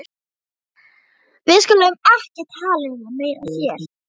Við skulum ekki tala um það meira hér.